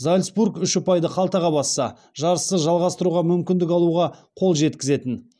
зальцбург үш ұпайды қалтаға басса жарысты жалғастыруға мүмкіндік алуға қол жеткізетін